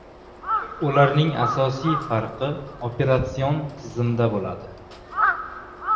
Ularning asosiy farqi operatsion tizimda bo‘ladi.